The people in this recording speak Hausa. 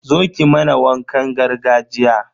Zo ki mana wakan gargajiya.